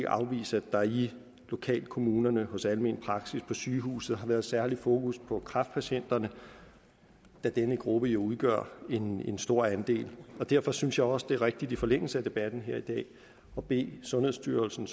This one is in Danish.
afvise at der i lokalkommunerne hos almen praksis på sygehuset har været særligt fokus på kræftpatienterne da denne gruppe jo udgør en en stor andel derfor synes jeg også det er rigtigt i forlængelse af debatten her i dag at bede sundhedsstyrelsen